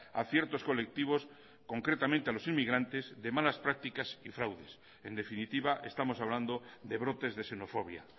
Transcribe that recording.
a ciertos colectivos concretamente a los inmigrantes de malas prácticas y fraudes en definitiva estamos hablando de brotes de xenofobia